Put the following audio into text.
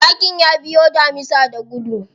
Zakin ya biyo damisa da gudu.